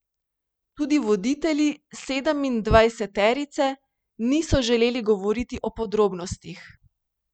Tudi voditelji sedemindvajseterice niso želeli govoriti o podrobnostih.